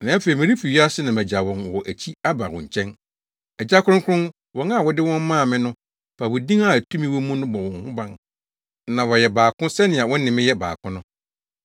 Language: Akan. Na afei, merefi wiase na magyaw wɔn wɔ akyi aba wo nkyɛn. Agya Kronkron, wɔn a wode wɔn maa me no, fa wo din a tumi wɔ mu no bɔ wɔn ho ban na wɔayɛ baako sɛnea wo ne me yɛ baako no.